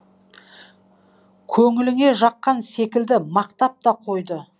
көңіліне жаққан секілді мақтап та қойды